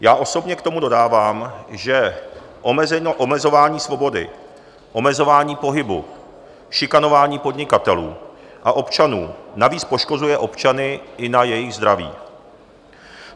Já osobně k tomu dodávám, že omezování svobody, omezování pohybu, šikanování podnikatelů a občanů navíc poškozuje občany i na jejich zdraví.